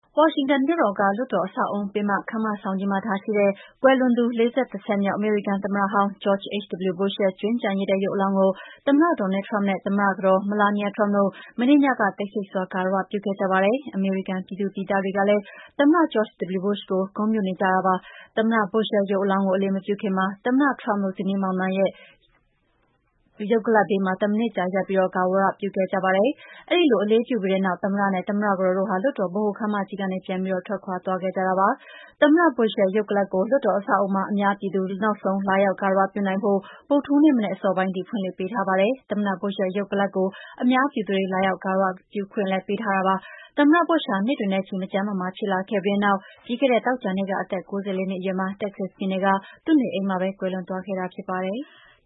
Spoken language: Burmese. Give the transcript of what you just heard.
ဝါရှင်တန်မြို့တော်၊ လွှတ်တော်အဆောက်အအုံ၊ ဗဟိုခန်းမကြီးမှာထားရှိတဲ့ ကွယ်လွန်သူ ၄၁ ဆက်မြောက် အမေရိကန်သမ္မတဟောင်း George H.W. Bush ရဲ့ ကြွင်းကျန်ရစ်တဲ့ ရုပ်အလောင်းကို သမ္မတ Donald Trump နဲ့ သမ္မတကတော် Melania Trump တို့က တိတ်ဆိတ်စွာ ဂါရ၀ ပြုခဲ့ကြပါတယ်။ အမေရိကန်ပြည်သူပြည်သားတွေကလည်း သမ္မတ George H.W. Bush ကို ဂုဏ်ပြုနေကြတာပါ။ သမ္မတ Bush ရဲ့ ရုပ်အလောင်းကို အလေးမပြုခင်မှာ သမ္မတ Trump တို့ ဇနီးမောင်နှံ ရဲ့ ရုပ်အလောင်းဘေးမှာ တမိနစ်ကြာ ရပ်ပြီးဂါရဝပြုခဲ့ကြပါတယ်။ အဲဒီလိုအလေးပြုပြီးတဲ့နောက် သမ္မတနဲ့ သမ္မတ ကတော်တို့ လွှတ်တော်ဗဟိုခန်းမကြီးကနေ ပြန်ပြီးထွက်ခွါသွားခဲ့ကြပါတယ်။ သမ္မတ Bush ရဲ့ ရုပ်အလောင်းကိုလွှတ်တော်အဆောက်အအုံမှာ အများပြည်သူတွေ နောက်ဆုံးလာရောက်ဂါရဝပြုနိုင်ဖို့ ဗုဓ္ဒဟူးနေ့ မနက်အစောပိုင်းထိ ဖွင့်လှစ်ပေးထားပါတယ်။ သမ္မတ Bush ဟာ နှစ်တွေနဲ့ချီ မကျန်းမမာဖြစ်လာခဲ့ပြီးတဲ့နောက် ပြီးခဲ့တဲ့သောကြာနေ့က အသက် ၉၄ နှစ်အရွယ်မှာ Texas ပြည်နယ်က သူ့နေအိမ်မှာပဲ ကွယ်လွန်သွားခဲ့တာဖြစ်ပါတယ်။